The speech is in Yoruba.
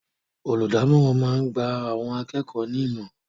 Olùdámọ̀ràn máa ń gba àwọn akẹ́kọ̀ọ́ ní ìmọ̀ràn